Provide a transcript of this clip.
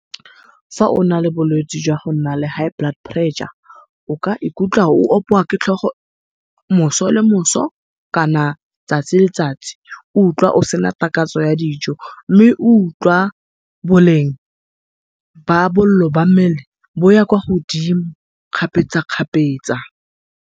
Fa ona le bolwetse jwa go nna le high blood pressure, o ka ikutlwa o opiwa ke tlhogo moso le moso kana tsatsi le tsatsi o utlwa osena takatso ya dijo, mme o ulwa boleng ba bollo jwa mmele bo ya kwa godimo kgapetsakgapetsa.